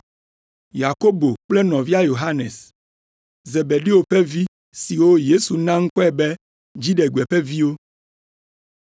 Yakobo kple nɔvia Yohanes, Zebedeo ƒe vi (siwo Yesu na ŋkɔe be, “dziɖegbe ƒe viwo”);